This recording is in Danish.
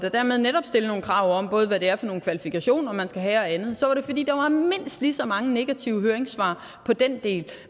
og dermed netop stille nogle krav om hvad det er for nogle kvalifikationer man skal have og andet så var det fordi der var mindst lige så mange negative høringssvar på den del